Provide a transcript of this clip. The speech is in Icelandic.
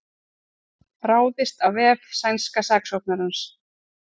Ráðist á vef sænska saksóknarans